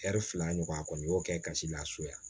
fila ɲɔgɔn a kɔni y'o kɛ gasi la so ye